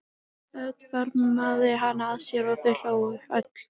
Örn faðmaði hana að sér og þau hlógu öll.